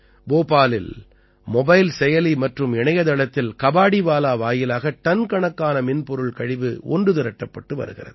போபாலில் மொபைல் செயலி மற்றும் இணையதளத்தில் கபாடீவாலா வாயிலாக டன் கணக்கான மின்பொருள் கழிவு ஒன்று திரட்டப்பட்டு வருகிறது